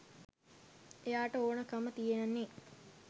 එයාට ඕන කම තියෙන්නෙ